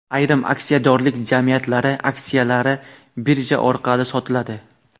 Ayrim aksiyadorlik jamiyatlari aksiyalari birja orqali sotiladi.